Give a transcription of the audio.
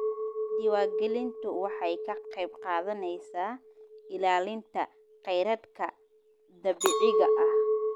Diiwaangelintu waxay ka qayb qaadanaysaa ilaalinta khayraadka dabiiciga ah.